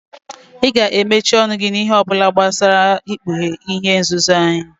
Ị ga-emesi ọnụ gị n'ihe ọbụla gbasara ikpughe ihe nzuzo anyị!